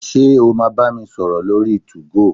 Ṣé o máa bá mi sọ̀rọ̀ lórí 2go?